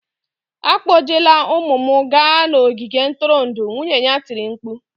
"Akpọjela ụmụ m gaa n'ogige ntụrụndụ!" Nwunye ya tiri mkpu